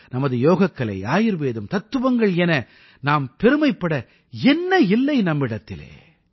நமது யோகக்கலை ஆயுர்வேதம் தத்துவங்கள் என நாம் பெருமைப்பட என்ன இல்லை நம்மிடத்திலே